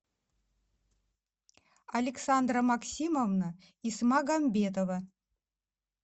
александра максимовна исмагамбетова